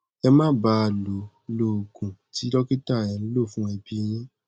ẹ máa bá a lọ lo oògùn tí dókítà ẹ ń lò fún ẹbí yín